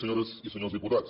senyores i senyors diputats